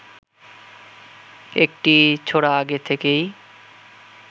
একটি ছোরা আগে থেকেই